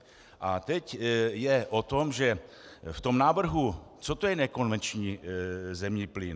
A teď je o tom, že v tom návrhu - co to je nekonvenční zemní plyn?